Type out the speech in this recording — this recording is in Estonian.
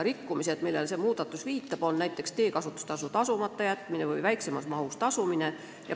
Rikkumised, mida see muudatus silmas peab, on näiteks teekasutustasu maksmata jätmine või selle väiksemas mahus tasumine.